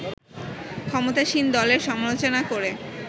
ক্ষমতাসীন দলের সমালোচনা করে